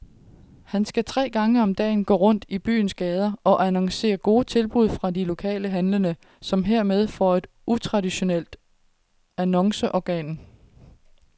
Han skal tre gange om dagen gå rundt i byens gader og annoncere gode tilbud fra de lokale handlende, som hermed får et utraditionelt annonceorgan.